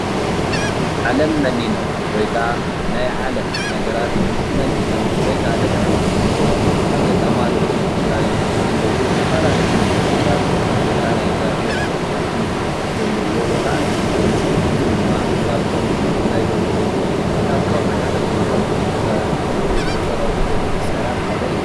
ዓለም መኒኖም ወይ ከዓ ናይ ዓለም ነገራት መኒኖም ወይ ከዓ ንድሕሪት ገዲፎም አብ ገዳማት ትግራይ ዝነብሩ ዝተፈላለዩ መነኮሳት ወይ ከዓ ናይ እግዚአብሔር ተኸተልቲ ዘለዎ ቦታ እንትኸውን እዚ ድማ ካብቶም አብ ትግራይ ዝርከቡ ካብ ከውሒ ተፈልፊሎም ዝተፀረቡ ቤተ ክርስትያናት ሓደ እዩ ።